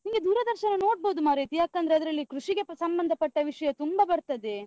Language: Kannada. ನಿಂಗೆ ದೂರದರ್ಶನ ನೋಡ್ಬೋದು ಮಾರೈತಿ, ಯಾಕಂದ್ರೆ ಅದ್ರಲ್ಲಿ ಕೃಷಿಗೆ ಸಂಬಂಧ ಪಟ್ಟ ವಿಷ್ಯ ತುಂಬ ಬರ್ತದೆ.